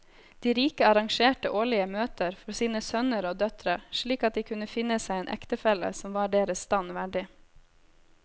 De rike arrangerte årlige møter for sine sønner og døtre slik at de kunne finne seg en ektefelle som var deres stand verdig.